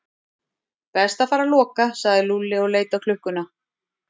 Best að fara að loka sagði Lúlli og leit á klukkuna.